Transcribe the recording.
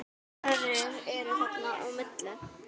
Aðrir eru þarna á milli.